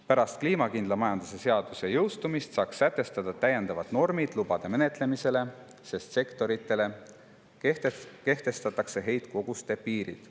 Pärast kliimakindla majanduse seaduse jõustumist saaks sätestada täiendavad normid lubade menetlemisele, sest sektoritele kehtestatakse heitkoguste piirid.